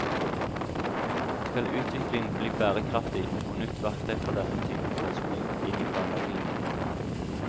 Skal utviklingen bli bærekraftig, må nytt verktøy fra denne typen forskning inn i planleggingen.